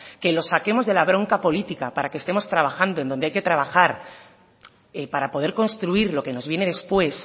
que los saquemos de la bronca política para que estemos trabajando donde hay que trabajar para poder construir lo que nos viene después